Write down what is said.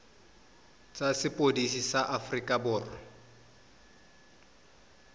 tsa sepodisi sa aforika borwa